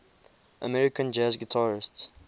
american jazz guitarists